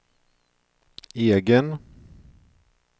egen